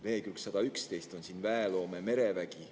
Leheküljel 111 on "Väeloome: merevägi".